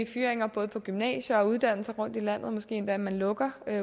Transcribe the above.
fyringer både på gymnasier og andre uddannelser rundt i landet og måske endda at man lukker